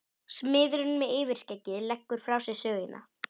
Smiðurinn með yfirskeggið leggur frá sér sögina.